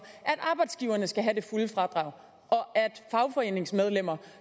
at arbejdsgiverne skal have det fulde fradrag og at fagforeningsmedlemmer